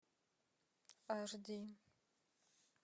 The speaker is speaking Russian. аш ди